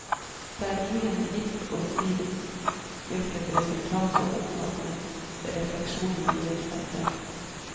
Det er ingen gitt å si hvilket resultat som oppnås, men refleksjonene gir seg selv.